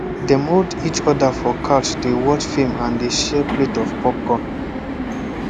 dem hold each for couch dey watch film and dey share plate of popcorn